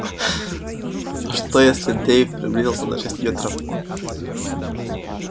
а что если дейв приблизился на шесть метров